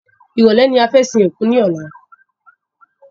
Ìrọ̀lẹ́ ni fẹ́ sin òkú ní ọ̀la